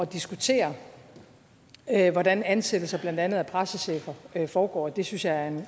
diskutere hvordan ansættelser af blandt andet pressechefer foregår det synes jeg